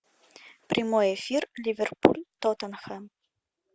прямой эфир ливерпуль тоттенхэм